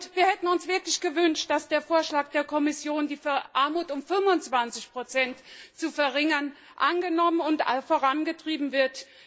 Wir hätten uns wirklich gewünscht, dass der Vorschlag der Kommission, die Verarmung um 25 zu verringern, angenommen und vorangetrieben wird.